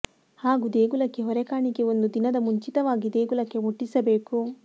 ಹಾಗೂ ದೇಗುಲಕ್ಕೆ ಹೊರೆ ಕಾಣಿಕೆ ಒಂದು ದಿನದ ಮುಂಚಿತವಾಗಿ ದೇಗುಲಕ್ಕೆ ಮುಟ್ಟಿಸಬೇಕು